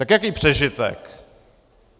Tak jaký přežitek?